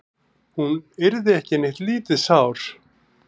Hún yrði ekki neitt lítið sár.